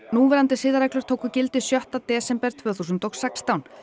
núverandi siðareglur tóku gildi sjötti desember tvö þúsund og sextán